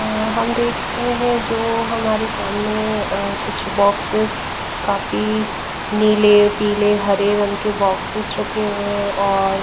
हम देख रहे हैं जो हमारे सामने अ कुछ बॉक्सेस काफी नीले पीले हरे रंग के बॉक्सेस रखे हुए हैं और--